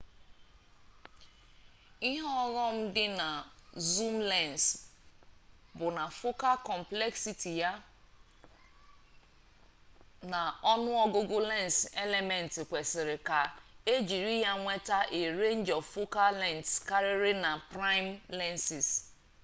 ihe ọghọm dị na zoom lens bụ na focal complexity ya na ọnụọgụgụ lens elements kwesịrị ka ejiri ya nweta a range of focal lengths karịrị na prime lenses